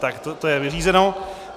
Tak to je vyřízeno.